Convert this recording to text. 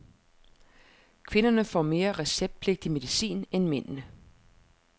Kvinderne får mere receptpligtig medicin end mændene.